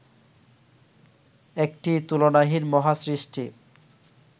একটি তুলনাহীন মহাসৃষ্টি